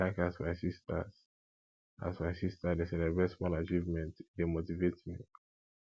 i like as my sista as my sista dey celebrate small achievement e dey motivate me